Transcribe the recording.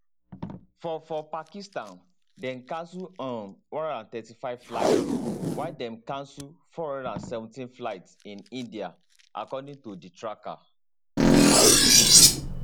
for for pakistan dem cancel um 135 flights while dem cancel 417 flights in india according to di tracker